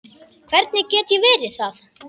Hvernig get ég verið það?